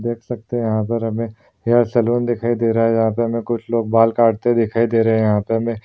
देख सकते हैं यहाँ पर हमें यह सैलून दिखाई दे रहा है जहाँ पे हमें कुछ लोग बाल काटते दिखाई दे रहे हैं यहाँ पे हमें --